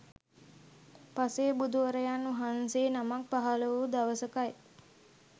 පසේබුදුවරයන් වහන්සේ නමක් පහළ වූ දවසකයි